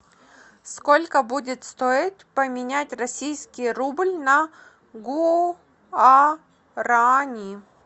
сколько будет стоить поменять российский рубль на гуарани